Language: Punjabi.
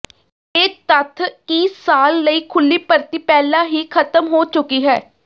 ਇਹ ਤੱਥ ਕਿ ਸਾਲ ਲਈ ਖੁੱਲ੍ਹੀ ਭਰਤੀ ਪਹਿਲਾਂ ਹੀ ਖਤਮ ਹੋ ਚੁੱਕੀ ਹੈ